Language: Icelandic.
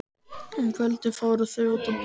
Um kvöldið fóru þau út að borða.